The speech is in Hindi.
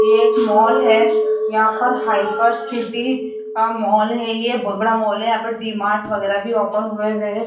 ये एक मॉल है यहां पर हाइपर सिटी का मॉल है ये बहुत बड़ा मॉल है यहां पे डी_मार्ट वगैरह भी ओपन हुए है।